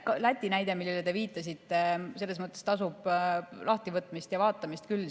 Läti näide, millele te viitasite, tasub selles mõttes lahtivõtmist ja vaatamist küll.